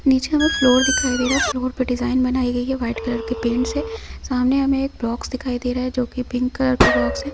नीचे हमें फ्लोर दिखाई दे रहा है फ्लोर पर डिजाइन बनाई गई है व्हाइट कलर के पेंट से सामने हमे एक बॉक्स दिखाई दे रहा है जो कि पिंक कलर का बॉक्स है।